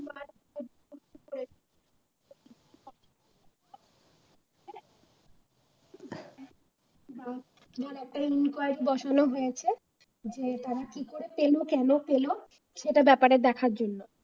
একটা enquiry বসানো হয়েছে যে তারা কি করে পেল কেন পেল সেটার ব্যাপারে দেখার জন্য